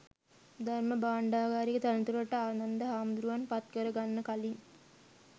ධර්ම භාණ්ඩාගාරික තනතුරට ආනන්ද හාමුදුරුවන් පත් කර ගන්න කලින්